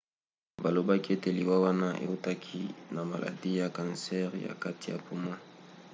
balobaki ete liwa wana eutaki na maladi ya kansere ya kati ya poumon